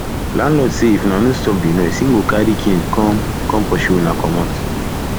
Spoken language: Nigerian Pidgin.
landlord say if una no stop the noise he go carry cane come come pursue una comot